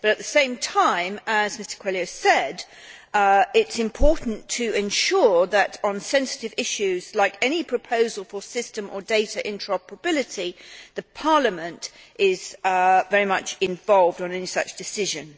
But at the same time, as Mr Coelho said, it is important to ensure on sensitive issues, such as any proposal for system or data interoperability, that Parliament is very much involved in any such decision.